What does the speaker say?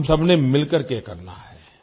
हम सबने मिलकर के करना है